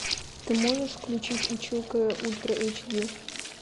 ты можешь включить училка ультра эйч ди